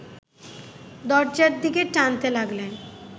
দরজার দিকে টানতে লাগলেন